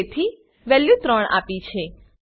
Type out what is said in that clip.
તેથી વેલ્યુ 3 આપી છે